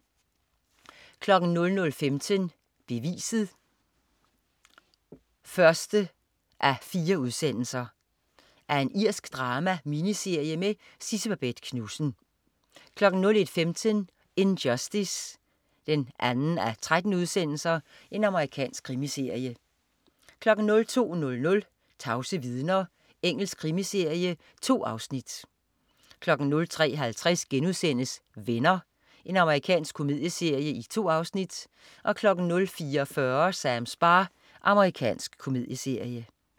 00.15 Beviset 1:4. Irsk drama-miniserie med Sidse Babett Knudsen 01.15 In Justice 2:13. Amerikansk krimiserie 02.00 Tavse vidner. Engelsk krimiserie. 2 afsnit 03.50 Venner.* Amerikansk komedieserie. 2 afsnit 04.40 Sams bar. Amerikansk komedieserie